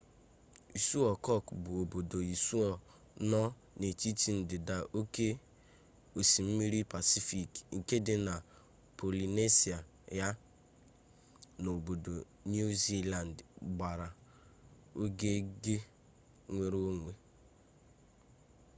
isuo kuk bụ obodo isuo nọ n'etiti ndịda oke osimiri pasifik nke dị na polinesia ya na obodo niu zilandị gbara ogige nwere onwe